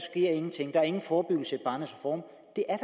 der ingen forebyggelse i barnets reform